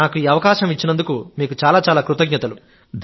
నాకు ఈ అవకాశం ఇచ్చినందుకు మీకు చాలా కృతజ్ఞతలు